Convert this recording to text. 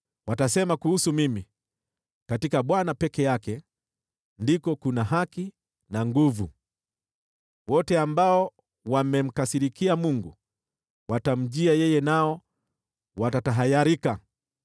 Watasema kuhusu mimi, ‘Katika Bwana peke yake ndiko kuna haki na nguvu.’ ” Wote ambao wamemkasirikia Mungu watamjia yeye, nao watatahayarika.